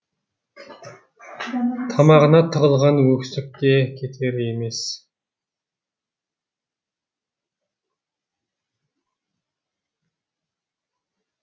тамағына тығылған өксікте кетер емес